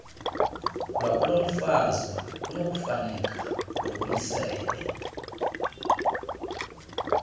lwakulomfazi kunokufuneka lubuyisele